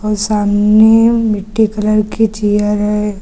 और सामने मिट्टी कलर की चेयर है।